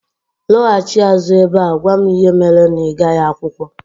Lọghachi azụ ebe a gwa m ihe mere na ịgaghị akwụkwọ